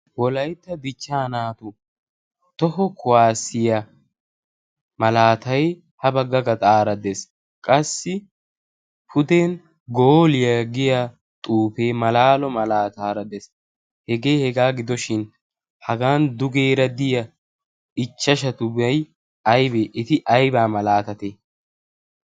wolaitta bichchaa naatu toho kuwaasiya malaatay ha bagga gaxaaraddees qassi puden gooliyaa giya xuufee malaalo malaataaraddees hegee hegaa gidoshin hagan dugeera diya ichchashatubay aybee eti aibaa malaatate?